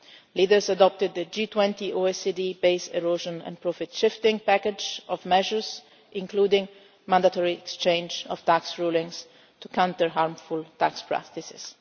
profits. Leaders adopted the G20 OECD based erosion and profit shifting package of measures, including mandatory exchange of tax rulings to counter harmful tax practices.